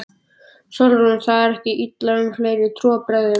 SÓLRÚN: Það er talað illa um fleira en trúarbrögðin.